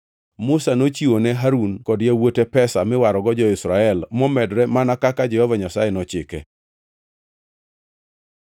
Musa nochiwo ne Harun kod yawuote pesa miwarogo jo-Israel momedore mana kaka Jehova Nyasaye nochike.